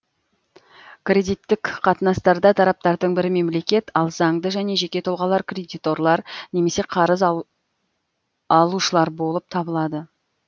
кредиттік қатынастарда тараптардың бірі мемлекет ал заңды және жеке тұлғалар кредиторлар немесе қарыз алушылар болып табылады